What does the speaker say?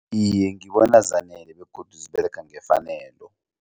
Iye, ngibona zanele begodu ziberega ngefanelo.